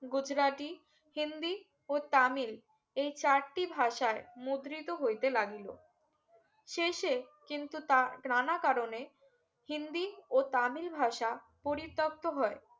গুজ্রাটিহিন্দি ও তামিল এই চারটি ভাষার মুদ্রিত হইতে লাগিলো শেষে কিন্তু তা ত্রানা কারণে হিন্দি ও তামিল ভাষা পরিতক্ত হয়